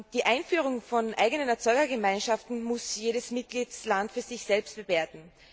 Die Einführung von eigenen Erzeugergemeinschaften muss jeder Mitgliedstaat für sich selbst bewerten.